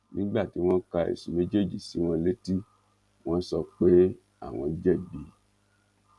nígbà tí wọn ka ẹsùn méjèèjì sí wọn létí wọn sọ pé àwọn jẹbi